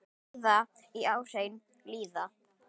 Ræða í áheyrn lýða.